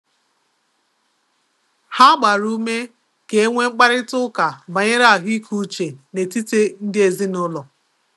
Ha gbara ume ka e nwee mkparịta ụka banyere ahụike uche n’etiti ndị ezinụlọ.